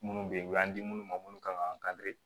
Minnu bɛ yen u y'an di minnu ma minnu kan